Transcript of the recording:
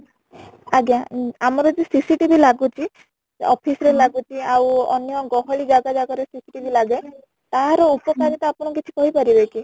ଆଜ୍ଞା ଉଁ ଆମର ଯୋଉ CCTV ଲାଗୁଚି office ରେ ଆଉ ଅନ୍ୟ ଗହଳି ଜାଗା ଜାଗା ରେ CCTV ଲାଗେ ତାର ଉପକାରିତା ଆପଣ କିଛି କହି ପାରିବେ କି ?